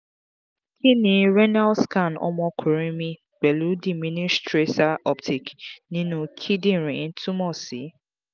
kí ni renal scan ọmọkunrin mi pẹ̀lú diminished tracer uptake ninu kindinrin tumọ̀ si?